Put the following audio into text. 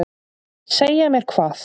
Segja mér hvað?